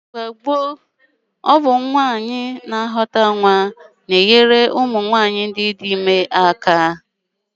Na mgbe gboo, ọ bụ nwaanyị na-ejikwa ime na-enyere ụmụ nwaanyị dị ime aka ka ha mụọ nwa.